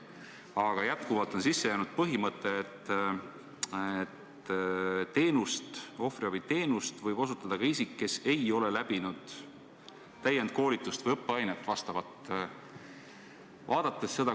Aga jätkuvalt on sisse jäänud põhimõte, et ohvriabiteenust võib osutada ka isik, kes ei ole läbinud täienduskoolitust või vastavat õppeainet.